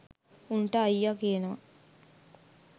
උන්ට අයියා කියනවා